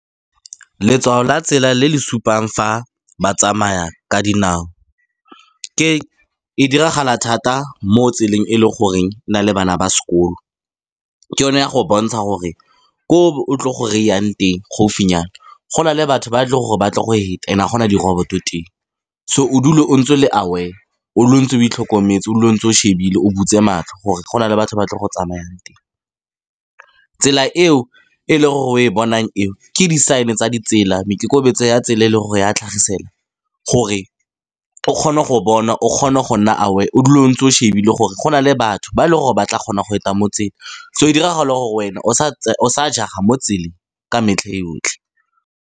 Letshwao la tsela le le supang fa ba tsamaya ka dinao e diragala thata mo tseleng e le goreng e na le bana ba sekolo. Ke yone ya go bontsha gore ko o tlo go ry-ang teng gaufinyana, go na le batho ba tle gore ba tle go heta and a gona di-robot teng. So o dule o ntse o le aware, o dule o ntse o itlhokometse, o dule o ntse o shebile, o butse matlho. Gore go na le batho ba tle go tsamaya teng, tsela eo e leng gore o e bonang eo, ke di sign tsa di tsela meikokobetso ya tsela e le gore ya tlhagisela. Gore o kgone go bona, o kgone go nna aware, o dule o ntse o shebile, gore go na le batho ba e le gore ba tla kgona go heta motse. So diragala gore wena o sa jega mo tseleng, ka metlha yotlhe.